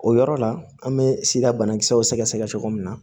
O yɔrɔ la an bɛ sida banakisɛw sɛgɛsɛgɛ cogo min na